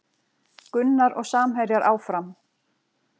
Gunnar og samherjar áfram